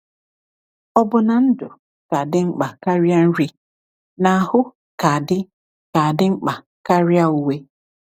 Ò bụ na ndụ ka dị mkpa karịa nri, na ahụ ka dị ka dị mkpa karịa uwe?